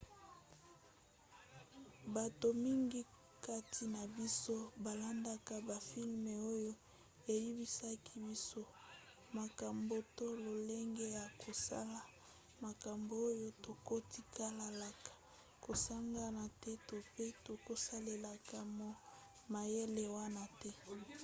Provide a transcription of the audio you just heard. bato mingi kati na biso balandaka bafilme oyo eyebisaka biso makambo to lolenge ya kosala makambo oyo tokotikalaka kosagana te to pe tokosalelaka mayele wana te